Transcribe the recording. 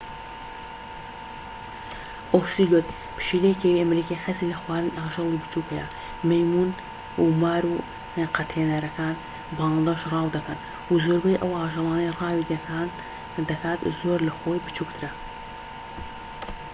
ئۆسیلۆت [پشیلە کێوی ئەمریکی] حەزی لە خواردنی ئاژەڵی بچوک هەیە. مەیمون و مار و قەتێنەرەکان و باڵندەش ڕاو دەکەن. زۆربەی ئەو ئاژەڵانەی ڕاوی دەکات زۆر لە خۆی بچوکترە